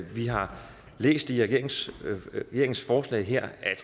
vi har læst i regeringens forslag her at